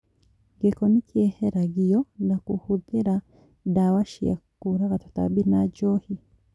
Gĩko nĩkĩeheragip na kũhũthĩra ndawa cia kũraga tũtambi ta njohi